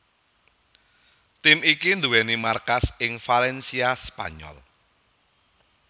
Tim iki nduwèni markas ing Valencia Spanyol